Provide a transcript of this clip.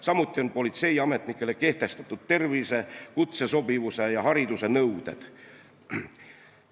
Samuti on politseiametnikele kehtestatud tervise, kutsesobivuse ja hariduse nõuded.